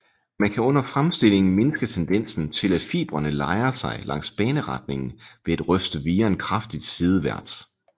Man kan under fremstillingen mindske tendensen til at fibrene lejrer sig langs baneretningen ved at ryste viren kraftigt sideværts